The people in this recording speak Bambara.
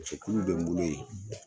Cɛkuluw bɛ n bolo yen.